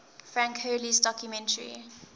frank hurley's documentary